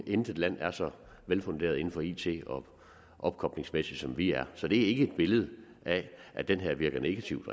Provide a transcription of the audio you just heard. intet land er så velfunderet inden for it og opkoblingsmæssigt som vi er så det er ikke et billede af at det her virker negativt